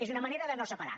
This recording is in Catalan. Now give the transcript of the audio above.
és una manera de no separar